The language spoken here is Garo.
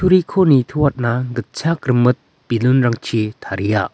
kutturiko nitoatna gitchak rimit bilun -rangchi taria.